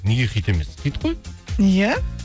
неге хит емес хит қой иә